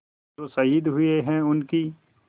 जो शहीद हुए हैं उनकी